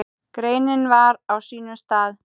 Greinin var á sínum stað.